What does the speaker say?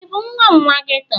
Ị bụ nwa nwa geto?